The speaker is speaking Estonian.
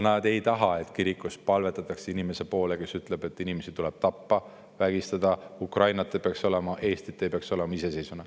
Nad ei taha, et kirikus palvetatakse inimese poole, kes ütleb, et inimesi tuleb tappa ja vägistada, et Ukrainat ei peaks olema, et iseseisvat Eestit ei peaks olema.